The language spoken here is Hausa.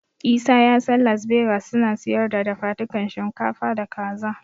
Isa ya san Las Begas suna siyar da dafadukan shinkafa da Kaza.